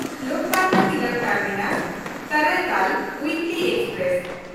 Lokmanya Tilak ᱴᱟᱨᱢᱤᱱᱟᱥ–ᱠᱟᱨᱟᱭᱠᱚᱞ ᱩᱭᱤᱠᱞᱤ express